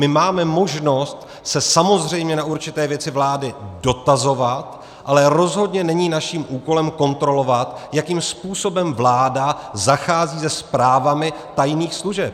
My máme možnost se samozřejmě na určité věci vlády dotazovat, ale rozhodně není naším úkolem kontrolovat, jakým způsobem vláda zachází se zprávami tajných služeb.